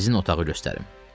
Sizin otağı göstərim.